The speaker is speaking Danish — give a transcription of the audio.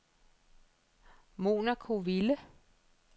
Monaco-Ville